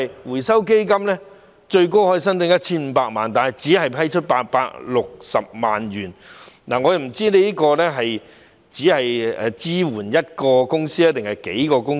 回收基金最高可以申請 1,500 萬元，但只批出860萬元，我不知道這只是支援一間公司，還是數間公司？